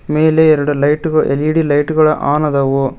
ಮೇಲೆ ಎರಡು ಲೈಟು ಗ- ಎಲ್_ಇ_ಡಿ ಲೈಟ್ ಗಳು ಆನ್ ಅದವು.